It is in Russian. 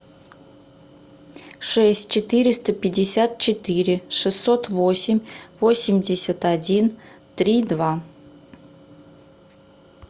шесть четыреста пятьдесят четыре шестьсот восемь восемьдесят один три два